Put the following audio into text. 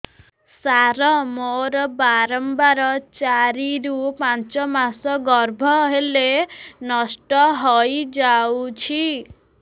ସାର ମୋର ବାରମ୍ବାର ଚାରି ରୁ ପାଞ୍ଚ ମାସ ଗର୍ଭ ହେଲେ ନଷ୍ଟ ହଇଯାଉଛି